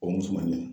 O musoman in